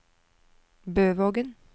Bøvågen